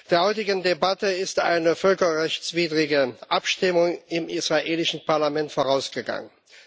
Der heutigen Debatte ist eine völkerrechtswidrige Abstimmung im israelischen Parlament vorausgegangen.